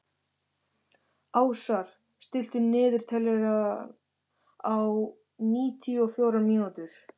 Ásar, stilltu niðurteljara á níutíu og fjórar mínútur.